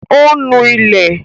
Ò ń nu ilẹ̀